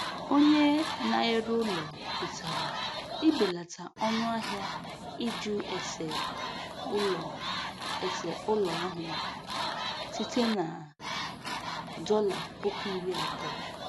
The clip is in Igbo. Onye na-ere ụlọ kwetara ibelata ọnụahịa ịjụ ese ụlọ ese ụlọ ahụ site na dọla puku iri abụọ